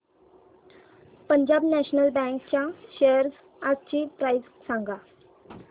Punjab national bank च्या shares आजची price सांगा